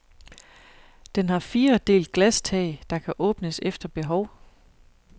Den har fire delt glastag, der kan åbnes efter behov.